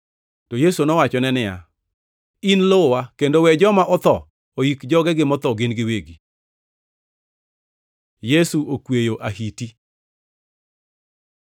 To Yesu nowachone niya, “In luwa, kendo we joma otho oik jogegi motho gin giwegi.” Yesu okweyo ahiti